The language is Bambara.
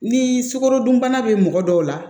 Ni sukarodunbana be mɔgɔ dɔw la